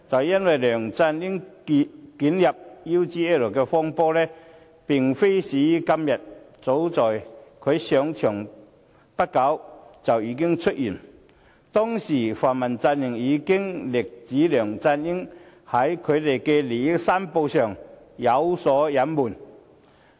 因為梁振英捲入 UGL 風波，並非始於今天，早在他上場後不久便已經出現，當時泛民陣營已經力指梁振英在利益申報上有所隱瞞。